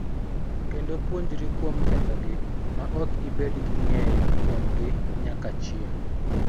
Kendo puonjri kuom kethogi ma ok ibed gi ng�eyo kuomgi nyaka chieng�.